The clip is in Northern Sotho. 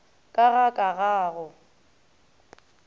ka ga ka ga go